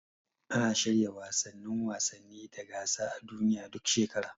Ana shirya wasannin wasanni da gasa a duniya, duk shekara.